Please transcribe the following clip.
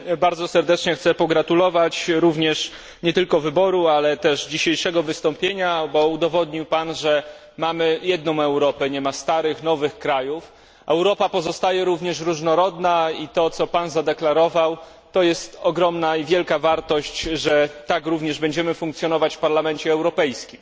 Również bardzo serdecznie chcę pogratulować, nie tylko wyboru, ale też dzisiejszego wystąpienia, bo udowodnił Pan, że mamy jedną Europę, nie ma starych, nowych krajów. Europa pozostaje również różnorodna i to, co Pan zadeklarował, to jest ogromna i wielka wartość, że tak również będziemy funkcjonować w Parlamencie Europejskim.